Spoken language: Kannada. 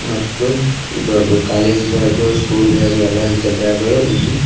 ಮತ್ತು ಇದು ದೊಡ್ಡ ಕಾಲೇಜ್ ಬ್ಯಾಗು ಸ್ಕೂಲ್ ಬ್ಯಾಗು ಎಲ್ಲ ರೀತಿಯ ಬ್ಯಾಗ್ ಗಳು ಇಲ್ಲಿ --